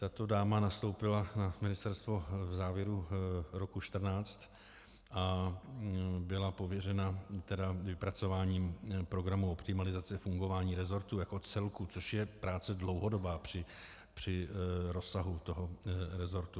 Tato dáma nastoupila na ministerstvo v závěru roku 2014 a byla pověřena vypracováním programu optimalizace fungování resortu jako celku, což je práce dlouhodobá při rozsahu toho resortu.